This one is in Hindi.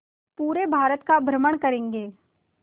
पूरे भारत का भ्रमण करेंगे